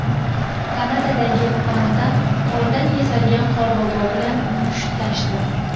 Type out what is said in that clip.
Kanadadagi panda qordan yasalgan Qorbobo bilan mushtlashdi .